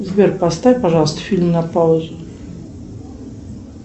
сбер поставь пожалуйста фильм на паузу